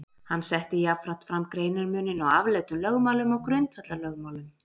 Hann setti jafnframt fram greinarmuninn á afleiddum lögmálum og grundvallarlögmálum.